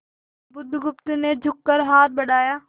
बुधगुप्त ने झुककर हाथ बढ़ाया